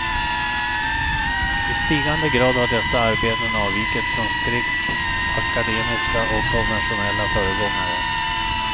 I stigande grad har dessa arbeten avvikit från strikt akademiska och konventionella föregångare.